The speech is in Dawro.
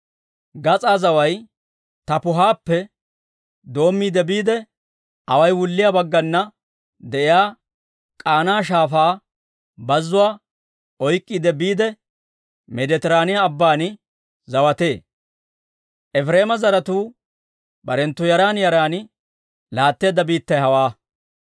Gas'aa zaway Taappuhappe doommiide biide, away wulliyaa baggana de'iyaa K'aana Shaafaa bazuwaa oyk'k'iide biide, Meeditiraaniyaa Abban zawatee. Efireema zaratuu barenttu yaran yaran laatteedda biittay hawaa.